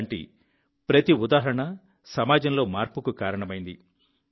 ఇలాంటి ప్రతి ఉదాహరణ సమాజంలో మార్పుకు కారణమైంది